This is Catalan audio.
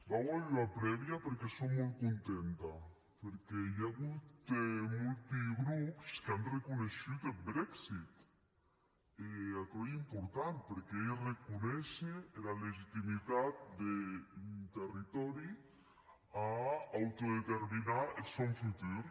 vau a hèr ua prèvia perque sò molt contenta perque i a agut molti grops qu’an arreconeishut eth brexit e aquerò ei important perque ei arreconéisher era legitimitat d’un territòri a autodeterminar eth sòn futur